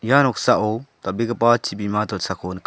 ia noksao dal·begipa chibima dilsako nika.